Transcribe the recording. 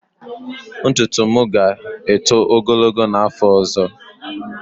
Ntutu m ga-eto ogologo n'afọ ọzọ.